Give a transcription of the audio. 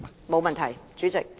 沒問題，主席。